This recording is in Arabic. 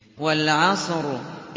وَالْعَصْرِ